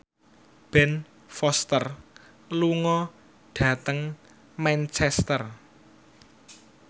Ben Foster lunga dhateng Manchester